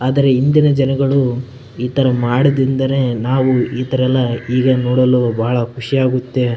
ಆದ್ರೆ ಹಿಂದಿನ ಜನಗಳು ಇತರ ಮಾಡದಿದ್ದರೆ ನಾವ್ ಇತರ ನೋಡಲು ಬಹಳ ಖುಷಿ ಆಗುತ್ತೆ .